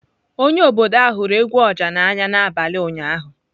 Onye obodo ahụ hụrụ egwu oja n'anya n'abalị ụnyaahụ.